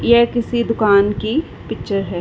यह किसी दुकान की पिचर हैं। .